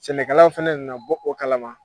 Sɛnɛkɛlaw fana na bɔ o kalama.